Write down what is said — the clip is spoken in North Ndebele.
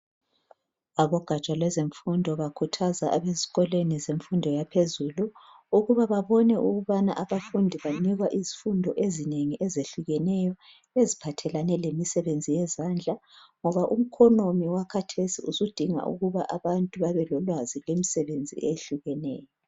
Abogaja lwezemfundo bakhuthaza abezikolweni zezifundo yaphezulu ukuba ba bone ukubana abafundi banikwa isifundo eziningi ezihlukeneyo eziphathelane lemisebenzi yezandla ngoba umkhonomi wakhathesi usudinga ukuba abantu babe lolwazi lwemisebenzi ehlukeneyo